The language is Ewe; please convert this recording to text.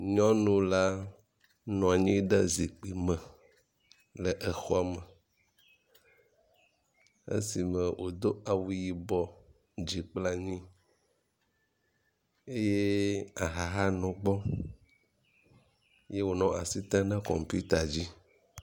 Nyɔnu la nɔ anyi ɖe zikpui me le exɔ me esime wòdo awu yibɔ dzikplanyi yeee aha hã nɔ gbɔ eye wònɔ asi tem ɖe kɔmita dzi.